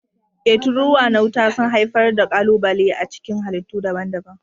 E, tururuwa na wuta sun haifar da ƙalubale a cikin halittu daban-daban.